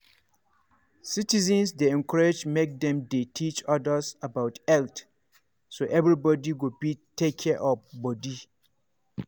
citizens dey encouraged make dem dey teach others about health so everybody go fit take care of body.